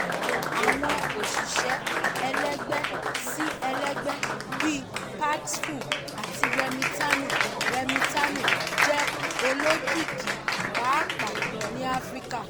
àwọn òṣìṣẹ́ ẹlẹgbẹ́-sí-ẹlẹgbẹ́ (p two p) bíi paxful àti remitano remitano jẹ́ olókìkí pàápàá ní áfíríkà.